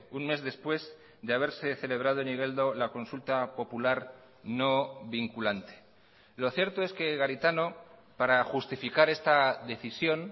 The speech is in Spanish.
un mes después de haberse celebrado en igeldo la consulta popular no vinculante lo cierto es que garitano para justificar esta decisión